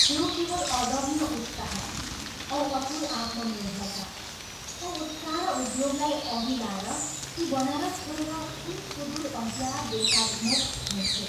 थियो केवल अदम्य उत्साह औ अतुल आत्मनिर्भरता औ उत्साह र उद्योगलाई अघि लाएर ती बनारस छोडेर कुन सुदूर अज्ञात देशाभिमुख हिंड्थे।